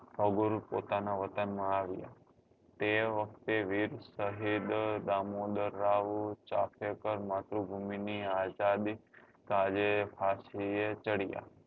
અભુરુ પોતાના વતન માં આવ્યા તે વખતે વીર સાહેબ દામોદર રાઓ ચાપેકર માતૃભુમી ની આઝાદી કાજે ફાંસી ચડ્યા